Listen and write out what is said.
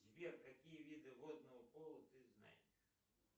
сбер какие виды водного поло ты знаешь